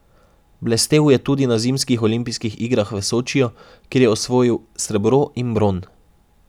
Blestel je tudi na zimskih olimpijskih igrah v Sočiju, kjer je osvojil srebro in bron.